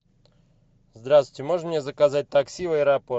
здравствуйте можно мне заказать такси в аэропорт